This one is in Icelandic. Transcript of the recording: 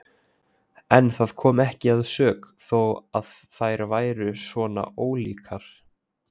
En það kom ekki að sök þó að þær væru svona ólíkar.